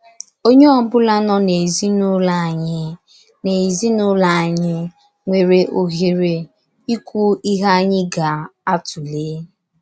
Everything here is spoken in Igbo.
Onye ọ bụla nọ n’ezinụlọ anyị n’ezinụlọ anyị nwere ohere ịkwu ihe anyị ga - atụlé. ”